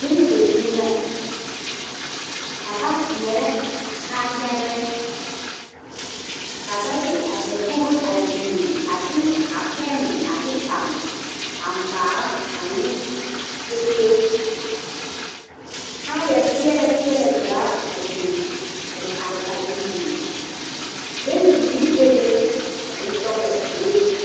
Bon se zie la ka ba seere a kaayare ka ba da a dakogi a biŋe a de a pene pare a ŋmaare ane kpɛkpe kaayaa seɛle seɛle zaa a biŋ a are a biŋ biŋ bon ziiri be be ka bonsɔglɔ be be.